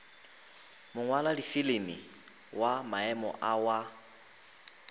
mongwaladifilimi wa maemo a wa